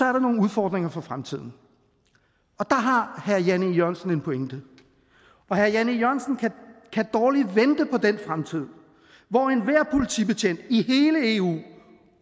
er nogle udfordringer for fremtiden og der har herre jan e jørgensen en pointe herre jan e jørgensen kan dårligt vente på den fremtid hvor enhver politibetjent i hele eu